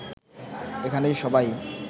এখানে সবাই